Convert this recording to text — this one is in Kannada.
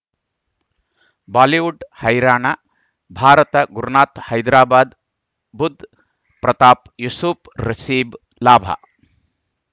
ಬಾಲಿವುಡ್ ಹೈರಾಣ ಭಾರತ ಗುರುನಾಥ ಹೈದರಾಬಾದ್ ಬುಧ್ ಪ್ರತಾಪ್ ಯೂಸುಫ್ ರಿಶಿಬ್ ಲಾಭ